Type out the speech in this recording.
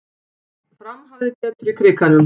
Fram hafði betur í Krikanum